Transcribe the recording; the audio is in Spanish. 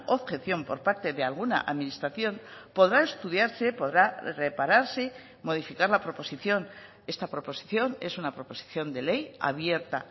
objeción por parte de alguna administración podrá estudiarse podrá repararse modificar la proposición esta proposición es una proposición de ley abierta